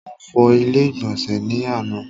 Mo fọ ilé ìgbọ̀nsẹ̀ ni àna.